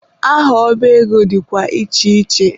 Aha ọba ego dịkwa iche iche.